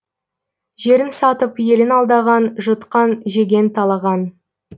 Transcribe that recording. жерін сатып елін алдаған жұтқан жеген талаған